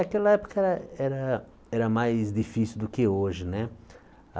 Aquela época era era era mais difícil do que hoje né.